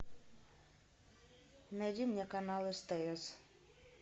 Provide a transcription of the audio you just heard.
найди мне канал стс